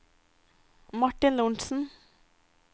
Martin Lorentzen